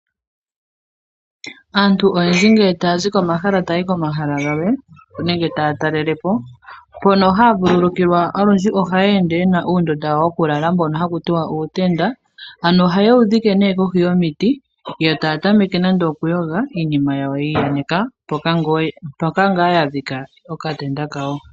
Aantu oyendji ngele taa zi pomahala taa yi komahala galwe nenge taa talelepo, mpono haa vululukilwa olundji ohaya ende yena uundunda wawo wokulala mbono hawu ithanwa uutenda ,ano ohayewu dhike nee kohi yomiti yo taa tameke nande okuyoga iinima yawo ta yaneke mpoka ngaa ya dhika okatenda kawo.